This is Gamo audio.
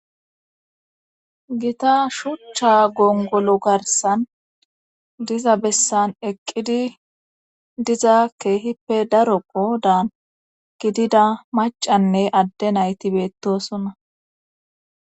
gita shuchcha gongolo garsan diza bessan eqqidi diza keehippe darokkodaan gidida macanne adde nayti beettosonna